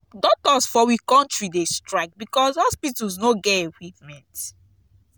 doctors for we country dey strike because hospitals no get equipment.